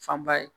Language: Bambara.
Fanba ye